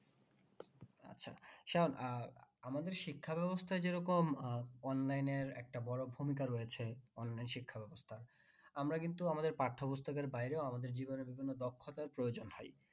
আহ আমাদের শিক্ষা ব্যবস্থা যেরকম আহ online এর একটা বড়ো ভূমিকা রয়েছে online শিক্ষা ব্যবস্থা আমরা কিন্তু আমাদের পাঠ্যপুস্তকের বাইরেও আমাদের বিভিন্ন বিভিন্ন দক্ষতার প্রয়োজন হয়।